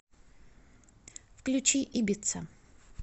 включи ибица